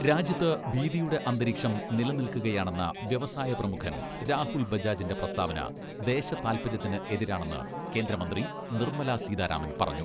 രാജ്യത്ത് ഭീതിയുടെ അന്തരീഷം നിലനിൽക്കുകയാണെന്ന വ്യവസായ പ്രമുഖൻ രാഹുൽ ബജാജിന്റെ പ്രസ്താവന ദേശതാൽപര്യത്തിന് എതിരാണെന്ന് കേന്ദ്രമന്ത്രി നിർമ്മലാ സീതാ രാമൻ പറഞ്ഞു.